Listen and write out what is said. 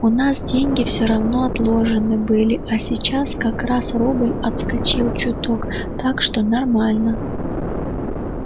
у нас деньги всё равно отложены были а сейчас как раз рубль отскочил чуток так что нормально